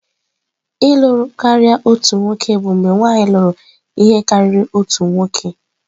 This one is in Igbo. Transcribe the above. Ịlū karia otu nwoke bụ mgbe nwanyị lụrụ ihe karịrị otu nwoke.